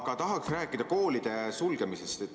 Aga tahaksin rääkida koolide sulgemisest.